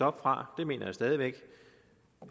op fra det mener jeg stadig væk